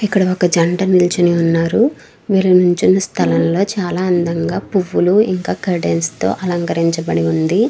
ఇక్కడ వక జంట నిలోచోని ఉనారు. విల్లు నిల్చున్న స్థలము లొ చాలా అందంగా ప్పువులు ఇంకా కర్టెన్స్ తో అలంకరిచ బడింది.